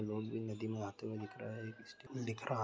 लोग भी नदी में नहाते हुए दिख रहे है -दिख रहा है।